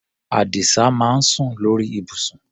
Àdìsá máa ń sùn lórí ibùsùn.